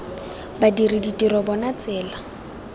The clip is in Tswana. sebg badiri ditiro bona tsela